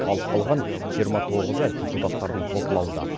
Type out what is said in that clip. ал қалған жиырма тоғызы депутаттардың талқылауында